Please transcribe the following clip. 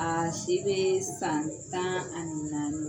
A si be san tan ani nanni na.